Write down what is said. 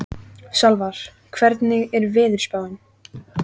Salvar, hvernig er veðurspáin?